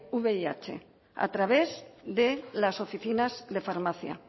vih a través de las oficinas de farmacia